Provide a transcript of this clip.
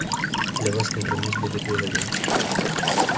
для вас компромисс будет выгоден